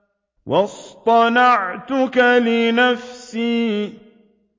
وَاصْطَنَعْتُكَ لِنَفْسِي